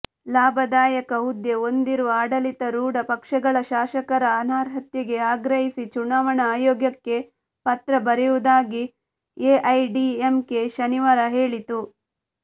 ಲಾಭದಾಯಕ ಹುದ್ದೆ ಹೊಂದಿರುವ ಆಡಳಿತಾರೂಢ ಪಕ್ಷಗಳ ಶಾಸಕರ ಅನರ್ಹತೆಗೆ ಆಗ್ರಹಿಸಿ ಚುನಾವಣಾ ಆಯೋಗಕ್ಕೆ ಪತ್ರ ಬರೆಯುವುದಾಗಿ ಎಐಡಿಎಂಕೆ ಶನಿವಾರ ಹೇಳಿತ್ತು